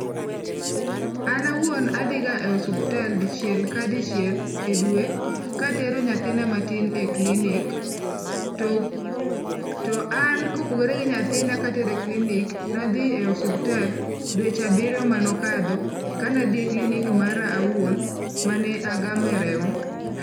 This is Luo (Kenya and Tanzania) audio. An awuon adhiga e osuptal dichiel ka dichiel e dwe, katero nyathina matin e klinik. To an kopogore gi nyathina katero e klinik, nadhi e osuptal dweche abiryo mane okadho kane adhi e klinik mara owuon, mane agame remo.